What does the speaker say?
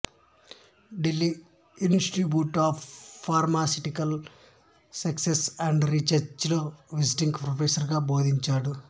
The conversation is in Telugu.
Delhi institute of pharmaceutical sciences and research లో విజిటింగ్ ప్రొఫెసర్ గా బోధించాడు